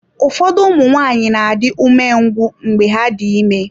Ụfọdụ ụmụ nwanyị na-adị umengwụ mgbe ha dị ime.